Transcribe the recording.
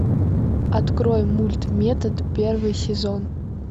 открой мульт метод первый сезон